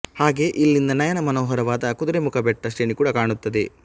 ಹಾಗೆ ಇಲ್ಲಿಂದ ನಯನ ಮನೋಹರವಾದ ಕುದುರೆಮುಖ ಬೆಟ್ಟ ಶ್ರೇಣಿ ಕೂಡ ಕಾಣುತ್ತದೆ